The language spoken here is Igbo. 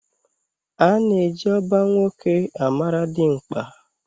Ana eji oba nwoke amara dimkpa.